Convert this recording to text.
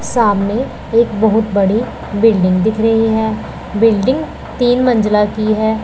सामने एक बहुत बड़ी बिल्डिंग दिख रही है बिल्डिंग तीन मंजिला की है।